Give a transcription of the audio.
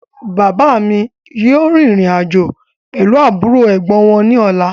Bàbá mi yìí ó rìn ìrìn-àjò pẹ̀lu àbúrò/Ẹ̀gbọ́n wọn ní ọ̀la